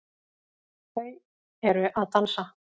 Þau eru að dansa